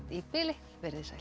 í bili verið þið sæl